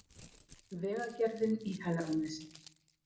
Vegagerðin í Hegranesi